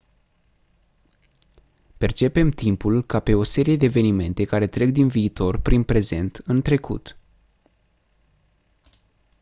percepem timpul ca pe o serie de evenimente care trec din viitor prin prezent în trecut